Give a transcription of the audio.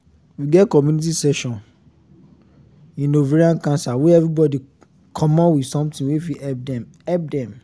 we get community session in ovarian cancer wey everybody commot with something wey fit help dem help dem